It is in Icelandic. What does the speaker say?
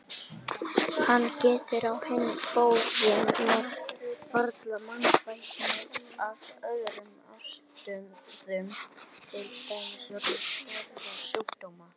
Hann getur á hinn bóginn varla mannfækkunar af öðrum ástæðum til dæmis vegna skæðra sjúkdóma.